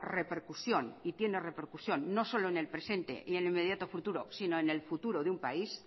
repercusión y tiene repercusión no solo en el presente y el inmediato futuro sino en el futuro de un país